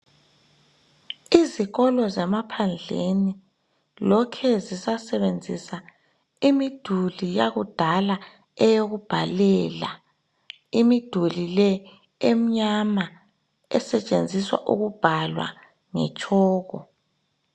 Izikolo zamaphandleni lokhe zisasebenzisa imiduli yakudala eyokubhalela .Imiduli le emnyama esetshenziswa ukubhalwa ngetshoko.